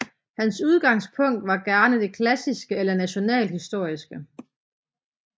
Hans udgangspunkt var gerne det klassiske eller nationalhistoriske